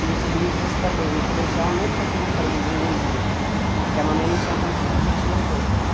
E os livros também, no colegial nunca comprei nenhum livro, porque a mamãe não tinha condições e tinha os outros.